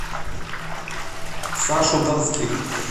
сашу донских